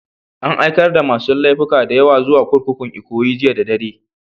An aikar da masun laifuka da yawa zuwa kurkukun Ikoyi jiya da dare.